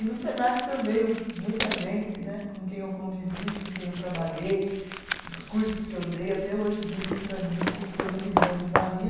E no Senac também, muita gente né, com quem eu convivi, com quem eu trabalhei, os cursos que eu dei até hoje dizem para mim que foram de grande valia